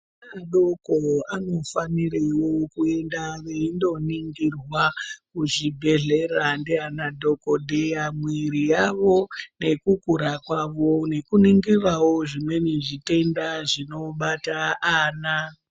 Vana vodoko vanofanirwa kuenda wo vendoningirwa kuzvibhendleya ndiana dhokodheya. Mwiri yavo nekukura kwavo nekuningira wo zvimweni zvitenda zvinobata ana.